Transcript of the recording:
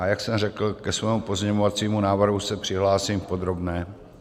A jak jsem řekl, ke svému pozměňovacímu návrhu se přihlásím v podrobné.